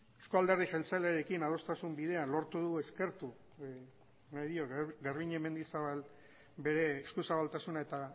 euzko alderdi jeltzalearekin adostasun bidean lortu dugu eskertu nahi diot garbiñe mendizabal bere eskuzabaltasuna eta